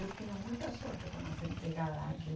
Eu tenho muita sorte com as empregada aqui.